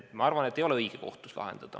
Ma arvan, et seda ei ole õige kohtus lahendada.